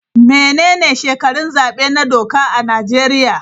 Menene shekarun zabe na doka a Najeriya?